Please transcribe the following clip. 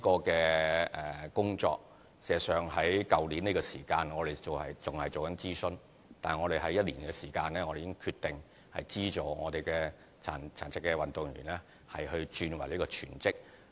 這項工作事實上在去年的同期仍在進行諮詢，但我們在1年的時間內已決定資助殘疾運動員轉為全職。